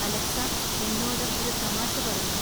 Alexa എന്നോട് ഒരു തമാശ പറയൂ